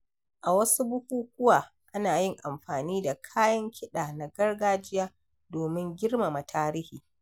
A wasu bukukuwa, ana yin amfani da kayan ƙida na gargajiya domin girmama tarihi.